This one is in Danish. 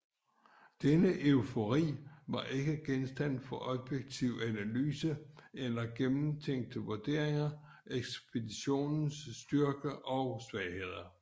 Denne eufori var ikke genstand for objektiv analyse eller gennemtænkte vurderinger af ekspeditionens styrke og svagheder